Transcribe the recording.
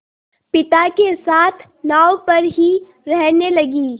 पिता के साथ नाव पर ही रहने लगी